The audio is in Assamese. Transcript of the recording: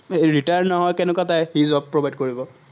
মানুহ যদি retire নহয়, কেনেকুৱা job provide কৰিব।